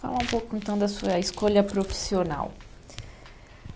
Fala um pouco então da sua escolha profissional.